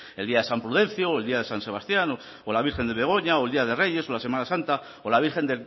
el día de san prudencio o el día de san sebastián o la virgen de begoña o el día de reyes o la semana santa o la virgen